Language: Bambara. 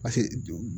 Paseke